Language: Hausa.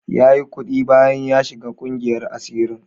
Yayi kuɗi bayan ya shiga ƙungiyar asirin.